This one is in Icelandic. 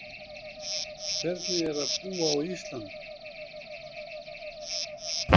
Hvernig er að búa á Íslandi?